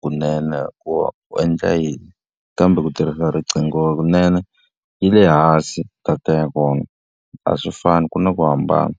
kunene ku u endla yini. Kambe ku tirhisa riqingho kunene, yi le hansi data ya kona. A swi fani ku na ku hambana.